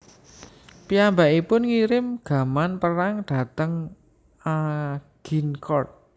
Piyambakipun ngirim gaman perang dhateng Agincourt